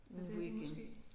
Ja det er de måske